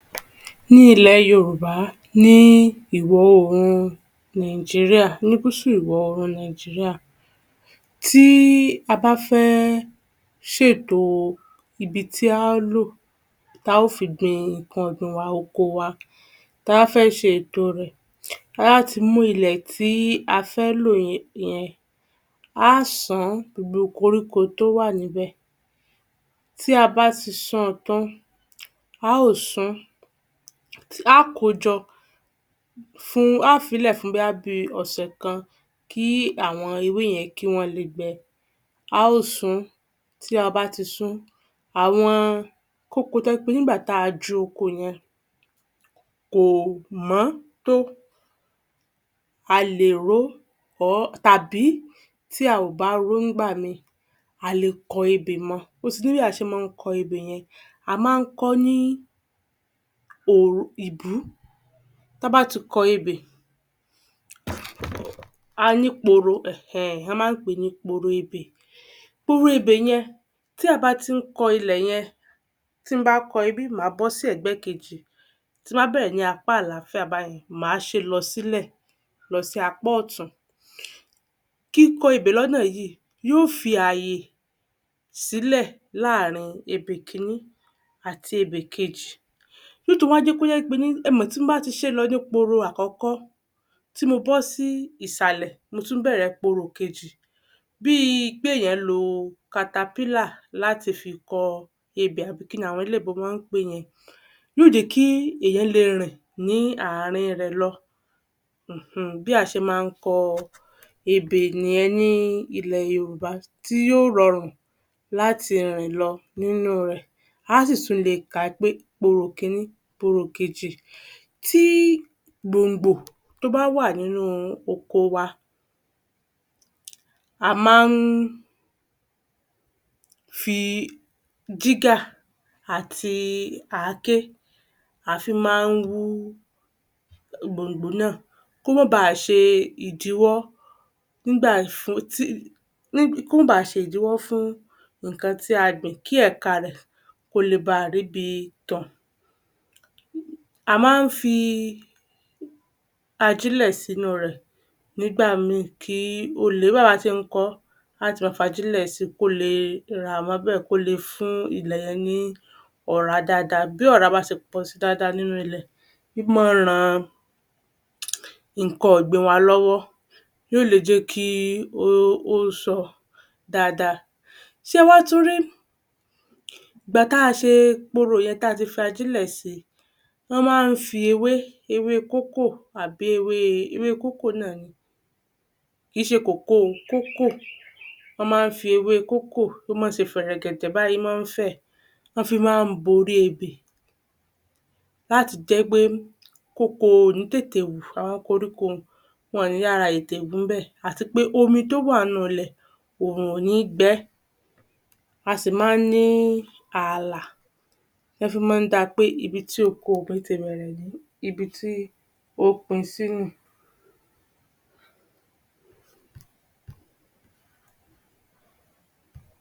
Ní ilẹ̀ Yorùbá ní ìwọ-orùn Nàìjíríà, ní gúúsù ìwọ-orùn Nàìjíríà, tí a bá fẹ́ ṣètò ibi tí a ó lò ta ó fi gbin nǹkan ọ̀gbìn wa, oko wa, ta bá fẹ́ ṣe ètò rẹ̀, láti mú ilẹ̀ tí a fẹ́ lò yẹn, a á ṣán gbogbo koríko tó wà níbẹ̀. Tí a bá ti ṣan tán, a ó sun, a kojọ, fún, a á fílẹ̀ fún bóyá bí i ọ̀sẹ̀ kan kí àwọn ewé yẹn, kí wọ́n le gbẹ. A ó sun, tí a bá ti sún, àwọn kókó tó jẹ́ pé nígbà tá a jó oko yẹn, kò mọ́ tó, a lè ro tàbí tí a ò bá ro ńgbàmí, a le kọ ebè mọ. Ó si ní bí a ṣe máa ń kọ ebè yẹn, a máa ń kọ ní òru-ìbú. Ta bá ti kọ ebè, a ní poro um a máa ń pè ní poro ebè. Poro ebè yẹn, tí a bá tí ń kọ ilẹ̀ yẹn, tí n bá kọ ibí, máa bọ́ sí ẹgbẹ́ kejì, tí n bá bẹ̀rẹ̀ ní apá àlàáfíà báyẹn, máa ṣe lọ sílẹ̀ lọ sí apá ọ̀tún. Kíkọ ebè lọ́nà yìí, yóò fi àyè sílẹ̀ láàárín ebè kíní àti ebè kejì. ẹmọ̀ tí n bá ti ṣé lọ ní poro àkọ́kọ́ tí mo bọ́ sí ìsàlẹ̀, mo tún bẹ̀ẹ̀rẹ̀ poro ìkejì bíi pé èèyàn lo láti fi kọ ebè àbí kíni àwọn olóyìnbó máa ń pèé yẹn yóò jẹ́kí èèyàn le rìn ní àárín rẹ̀ lọ um bí a ṣe máa ń kọ ebè nìyẹn ní ilẹ̀ Yorùbá tí yóò rọrùn láti rìn lọ nínú rẹ̀, á sì tún le kà pé poro ìkíní, poro ìkejì. Tí gbòǹgbò, tó bá wa nínú oko wa, a máa ń fi jígà àti àáké, a fí máa ń wú gbòǹgbò náà kó má bá a ṣe ìdíwọ́ nígbà fún tí, kó máa ba ṣe ìdíwọ́ fún nǹkan tí a gbìn kí ẹ̀ka rẹ̀ kó le ba ríbi tàn. A máa ń fi ajílẹ̀ sínú rẹ̀ nígbà mí kí o le, bá bà ṣé ń kọ́, á ti máa fi ajílẹ̀ si kóle rà mọ́bẹ̀, kó le fún ilẹ̀ yẹn ní ọ̀rá dáadáa. Bí ọ̀rá bá ṣe pọ̀ si dáadáa nínú ilẹ̀, í máa ń ran nǹkan ọ̀gbìn wa lọ́wọ́. Yóò le jẹ́kí ó sọ dáadáa. Ṣẹ wá tún rí gbà tá ṣe poro yẹn, tí a ti ajílẹ̀ si, wọ́n máa ń fi ewé, ewé kókò àbí ewé, ewé kókò náà ni. Kì í ṣe kòkó o, kókò, wọ́n máa ń fi ewé kókò, o máa ń ṣe fẹ̀rẹ̀gẹ̀dẹ̀ báyìí, o máa ń fẹ̀, wọ́n fi máa ń bo orí ebè láti jẹ́ pé kò kò ní tètè wù àwọn koríko um wọn ò ní yára tètè wù ńbẹ̀ àti pé omi tó wà nínú ilẹ̀, òrùn ò ní gbẹ, a sì máa ń ni àlà nọ́ fi máa ń da pé ibi tí oko mi ti bẹ̀rẹ̀ nì í, ibi tí o pin sí nì í.